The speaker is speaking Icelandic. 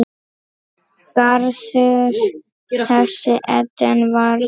Garður þessi Eden varð.